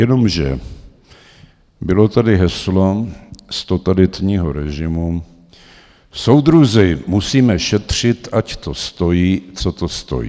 Jenomže bylo tady heslo z totalitního režimu: soudruzi, musíme šetřit, ať to stojí, co to stojí.